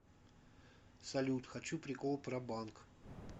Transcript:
салют хочу прикол про банк